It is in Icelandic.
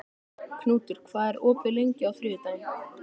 Knútur, hvað er opið lengi á þriðjudaginn?